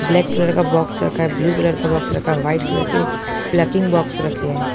Black colour का box रखा है ब्लू कलर का बॉक्स रखा है वाइट कलर के प्लकिंग बॉक्स रखे हैं।